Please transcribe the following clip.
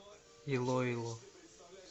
илоило